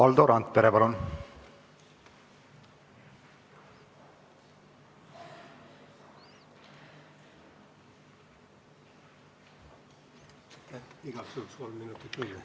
Valdo Randpere, palun!